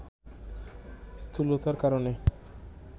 স্থূলতার কারণে